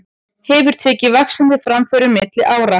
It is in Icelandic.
Hefur tekið vaxandi framförum milli ára.